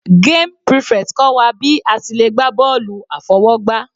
Game prefect kọ́ wa bí a ti le gbá bọ́ọ̀lù àfọwọ́gbá.